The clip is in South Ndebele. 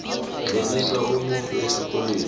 tlolisa umntwana esikolweni